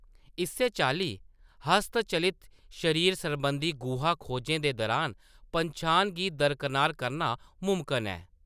इस्सै चाल्ली, हस्तचलित शरीर सरबंधी गुहा खोजें दे दरान पन्छान गी दरकनार करना मुमकन ऐ।